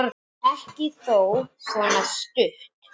Ekki þó svona stutt.